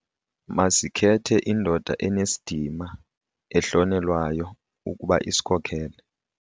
Masikhethe indoda enesidima ehlonelwayo ukuba isikhokele.